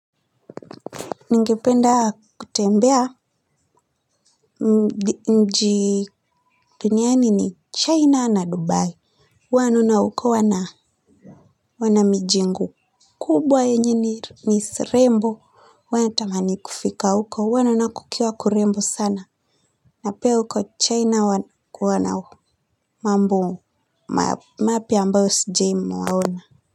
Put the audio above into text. Ningependa kutembea, mji duniani ni China na Dubai. Huwa ninaokoa na kuona mijengo kubwa yenye ni zisirembo. Wanatamani kufika uko huwa naona kukiwa kurembo sana na pia huko China wana mambo mu mapya ambayo sijawai ona.